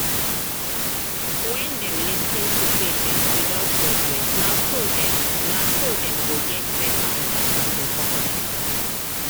when them lis ten to patient without judgment naso dem naso dem go get better understanding for hospital